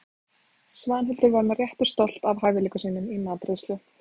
Svanhildur var með réttu stolt af hæfileikum sínum í matreiðslu.